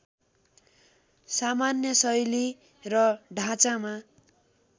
सामान्य शैली र ढाँचामा